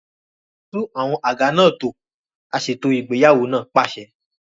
Tún àwọn àga náà tò! Aṣètò ìgbéyàwó náà pàṣẹ.